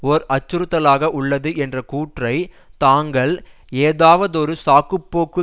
ஓர் அச்சுறுத்தலாக உள்ளது என்ற கூற்றை தாங்கள் ஏதாவதொரு சாக்குப்போக்கு